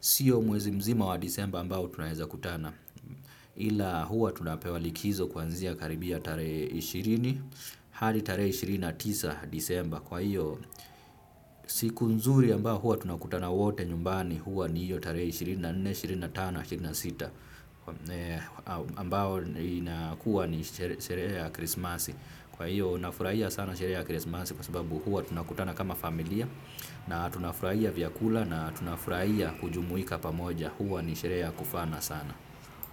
siyo mwezi mzima wa disemba ambao tunaeza kutana ila huwa tunapewa likizo kuanzia karibia tarehe ishirini hadi tarehe ishirini na tisa disemba kwa hiyo siku mzuri ambao huwa tunakutana wote nyumbani huwa ni hiyo tare ishirini na nne, ishirini na tano, ishirini na sita ambao inakuwa ni sherehe ya krismasi. Kwa iyo nafuraia sana sherehe ya krismasi. Kwa sababu huwa tunakutana kama familia. Na tunafuraia vyakula na tunafuraia kujumuika pamoja. Huwa ni sherehe ya kufana sana.